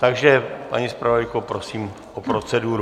Takže paní zpravodajko, prosím o proceduru.